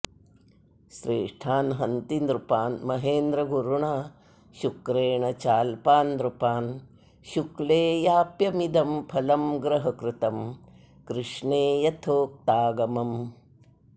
श्रेष्ठान् हन्ति नृपान् महेन्द्रगुरुणा शुक्रेण चाल्पान् नृपान् शुक्ले याप्यमिदं फलं ग्रहकृतं कृष्णे यथोक्तागमम्